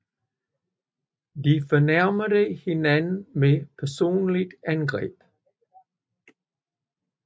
De fornærmede hinanden med personlige angreb